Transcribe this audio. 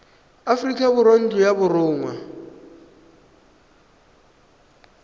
aforika borwa ntlo ya borongwa